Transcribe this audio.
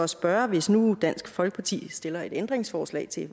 spørge hvis nu dansk folkeparti stiller et ændringsforslag til